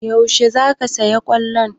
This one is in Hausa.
Yaushe zaka saya ƙwallo?